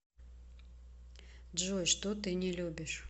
джой что ты не любишь